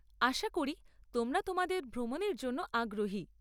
আশা করি তোমরা তোমাদের ভ্রমণের জন্য আগ্রহী।